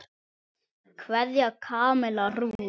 Kveðja, Kamilla Rún.